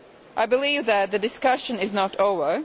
I believe that the discussion is not over.